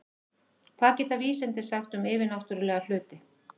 Hvað geta vísindin sagt um yfirnáttúrlega hluti?